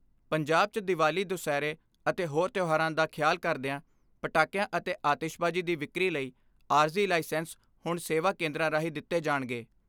ਪੰਜਾਬ 'ਚ ਦੀਵਾਲੀ ਦੁਸਹਿਰੇ ਅਤੇ ਹੋਰ ਤਿਉਹਾਰਾਂ ਦਾ ਖਿਆਲ ਕਰਦਿਆਂ ਪਟਾਕਿਆ ਅਤੇ ਆਤਿਸ਼ਬਾਜ਼ੀ ਦੀ ਵਿਕਰੀ ਲਈ ਆਰਜ਼ੀ ਲਾਈਸੈਂਸ ਹੁਣ ਸੇਵਾ ਕੇਂਦਰਾਂ ਰਾਹੀਂ ਦਿੱਤੇ ਜਾਣਗੇ।